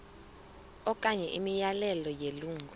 okanye imiyalelo yelungu